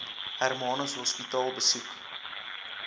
hermanus hospitaal besoek